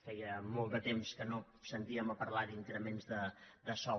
feia molt de temps que no sentíem a parlar d’increments de sou